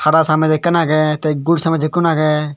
hara samez ekan aage gul samez ekan aage.